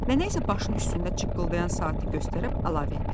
Nənə isə başın üstündə cıqqıldayan saatı göstərib əlavə etdi: